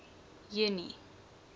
junie